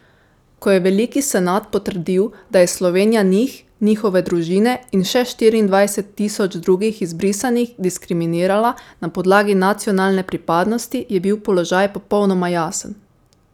Ko je veliki senat potrdil, da je Slovenija njih, njihove družine in še štiriindvajset tisoč drugih izbrisanih diskriminirala na podlagi nacionalne pripadnosti, je bil položaj popolnoma jasen.